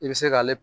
I bɛ se k'ale